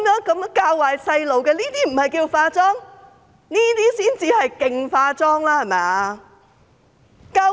這些教壞小朋友的話，不是"化妝"嗎？